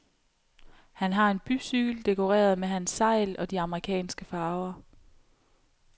Han har en bycykel dekoreret med hans segl og de amerikanske farver.